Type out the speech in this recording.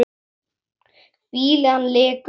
Fýlan lekur af honum.